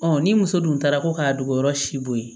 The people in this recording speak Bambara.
ni muso dun taara ko k'a dogo yɔrɔ si bo ye